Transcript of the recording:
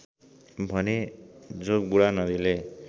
भने जोगबुढा नदीले